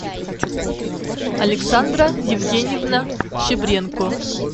александра евгеньевна щебренко